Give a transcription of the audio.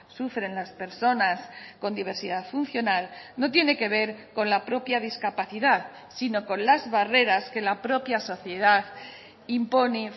sufren las personas con diversidad funcional no tiene que ver con la propia discapacidad sino con las barreras que la propia sociedad impone